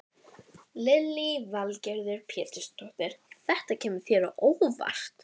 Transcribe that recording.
Þegar rynni af honum kæmi aldeilis annað hljóð í strokkinn.